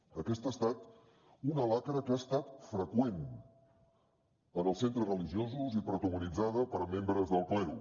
aquesta ha estat una xacra que ha estat freqüent en els centres religiosos i protagonitzada per membres del clero